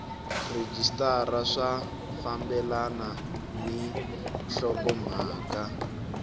rhejisitara swi fambelana ni nhlokomhaka